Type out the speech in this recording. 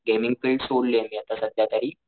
Gaming field सोडलीये मी आत्ता सध्या तरी.